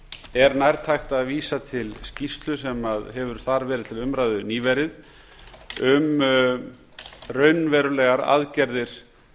er nærtækt að vísa til skýrslu sem hefur þar verið til umræðu nýverið um raunverulegar aðgerðir